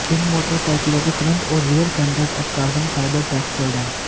इन मोटरसाइकिलों के फ्रंट और रियर फेंडर्स अब कार्बन फाइबर टैक्सचर्ड हैं